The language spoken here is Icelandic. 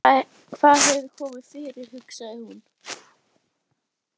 Hvað hefur komið fyrir, hugsaði hún.